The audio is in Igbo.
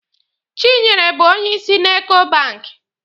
Chinyere bụ onyeisi na Eko banki.